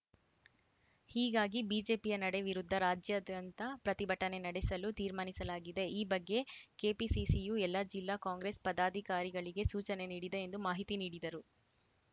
ಹೀಗಾಗಿ ಬಿಜೆಪಿಯ ನಡೆ ವಿರುದ್ಧ ರಾಜ್ಯಾದ್ಯಂತ ಪ್ರತಿಭಟನೆ ನಡೆಸಲು ತೀರ್ಮಾನಿಸಲಾಗಿದೆ ಈ ಬಗ್ಗೆ ಕೆಪಿಸಿಸಿಯು ಎಲ್ಲ ಜಿಲ್ಲಾ ಕಾಂಗ್ರೆಸ್‌ ಪದಾಧಿಕಾರಿಗಳಿಗೆ ಸೂಚನೆ ನೀಡಿದೆ ಎಂದು ಮಾಹಿತಿ ನೀಡಿದರು